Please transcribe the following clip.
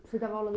Você dava aula no